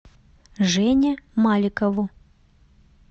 жене маликову